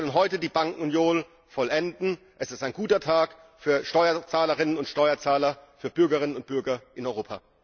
Wir können heute die Bankenunion vollenden, es ist ein guter Tag für die Steuerzahlerinnen und Steuerzahler, für die Bürgerinnen und Bürger in Europa.